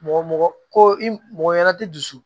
Mɔgɔ mɔgɔ ko i mɔgɔ ɲɛna ti dusu